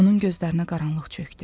Onun gözlərinə qaranlıq çökdü.